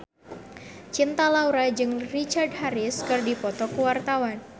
Cinta Laura jeung Richard Harris keur dipoto ku wartawan